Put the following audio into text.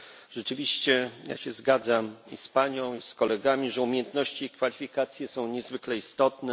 Rzeczywiście ja się zgadzam z Panią i z kolegami, że umiejętności i kwalifikacje są niezwykle istotne.